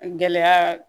Gɛlɛya